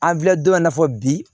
An filɛ don min na i n'a fɔ bi